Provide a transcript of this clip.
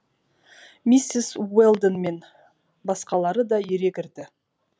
миссис уэлдон мен басқалары да ере кірді